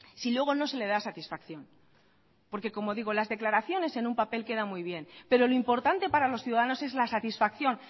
si luego no se le da satisfacción porque como digo las declaraciones en un papel quedan muy bien pero lo importante para los ciudadanos es la satisfacción